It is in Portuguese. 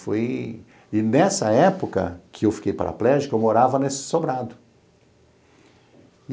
Foi... E nessa época que eu fiquei paraplégico, eu morava nesse sobrado.